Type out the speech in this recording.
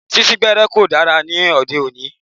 Sín sín gbẹ́ẹ́rẹ́ kò dára ní òde òní.